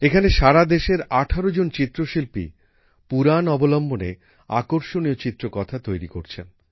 এখানে সারাদেশের ১৮জন চিত্রশিল্পী পুরাণ অবলম্বনে আকর্ষণীয় চিত্রকথা তৈরি করছেন